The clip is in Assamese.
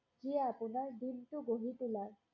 যি আপোনাৰ দিনটো গঢ়ি তোলাৰ